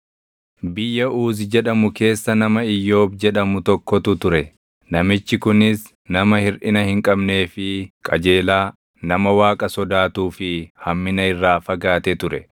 Biyya Uuzi jedhamu keessa nama Iyyoob jedhamu tokkotu ture. Namichi kunis nama hirʼina hin qabnee fi qajeelaa, nama Waaqa sodaatuu fi hammina irraa fagaate ture.